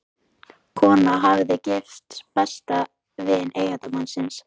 Konan hafði gifst besta vini eiginmannsins.